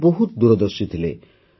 ସେ ବହୁତ ଦୂରଦର୍ଶୀ ଥିଲେ